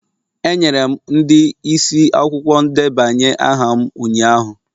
Enyere m ndị isi akwụkwọ ndebanye aha m ụnyahụ.